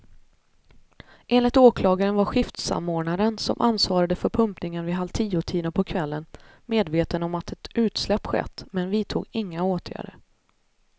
Enligt åklagaren var skiftsamordnaren, som ansvarade för pumpningen vid halvtiotiden på kvällen, medveten om att ett utsläpp skett men vidtog inga åtgärder.